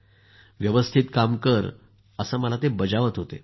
व्यवस्थित काम कर असं मला बजावत होते